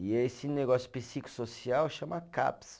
E esse negócio psicossocial chama Caps.